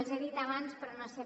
els he dit abans però no sé